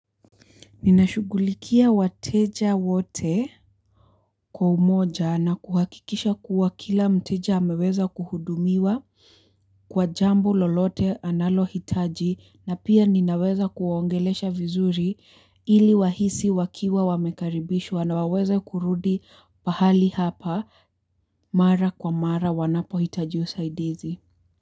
Ninashughulikia wateja wote kwa umoja na kuhakikisha kuwa kila mteja ameweza kuhudumiwa kwa jambo lolote analohitaji na pia ninaweza kuwaongelesha vizuri ili wahisi wakiwa wamekaribishwa na waweze kurudi pahali hapa mara kwa mara wanapohitaji usaidizi.